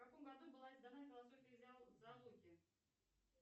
в каком году была издана философия зоологии